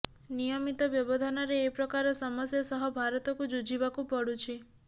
ନିୟମିତ ବ୍ୟବଧାନରେ ଏ ପ୍ରକାର ସମସ୍ୟା ସହ ଭାରତକୁ ଯୁଝିବାକୁ ପଡୁଛି